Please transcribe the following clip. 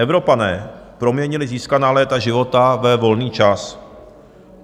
Evropané proměnili získaná léta života ve volný čas.